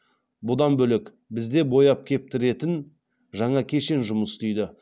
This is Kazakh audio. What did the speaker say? бұдан бөлек бізде бояп кептіретін жаңа кешен жұмыс істейді